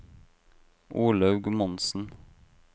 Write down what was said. Olaug Monsen